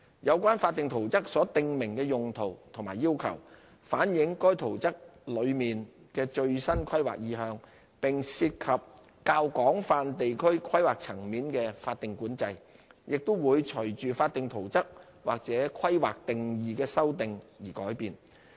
有關法定圖則所訂明的用途和要求，反映該圖則內的最新規劃意向，並涉及較廣泛地區規劃層面的法定管制，亦會隨法定圖則或規劃定義修訂而改變。